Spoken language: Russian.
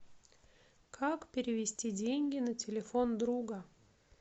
как перевести деньги на телефон друга